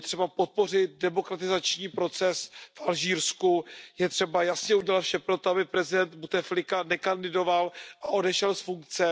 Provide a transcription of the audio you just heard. Je třeba podpořit demokratizační proces v Alžírsku, je třeba jasně udělat vše pro to, aby prezident Buteflika nekandidovala a odešel z funkce.